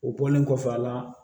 O bɔlen kɔfɛ a la